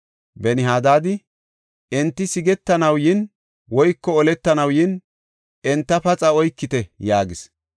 Ben-Hadaadi, “Enti sigetanaw yin, woyko oletanaw yin, enta paxa oykite” yaagis.